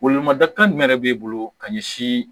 Welewelemada kan jumɛn de b'e bolo ka ɲɛsin